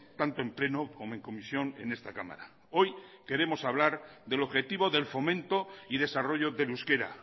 tanto en pleno como en comisión en esta cámara hoy queremos hablar del objetivo del fomento y desarrollo del euskera